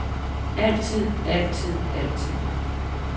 altid altid altid